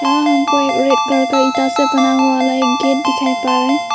यहां हमको एक रेड कलर से बना हुआ ईटा से बना हुआ गेट दिखाई पड़ रहा है।